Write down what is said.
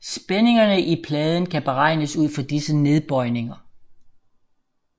Spændingerne i pladen kan beregnes ud fra disse nedbøjninger